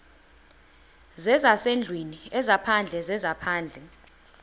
zezasendlwini ezaphandle zezaphandle